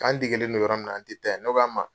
K'an degelen do yɔrɔ min na an tɛ taa ye ne ko a ma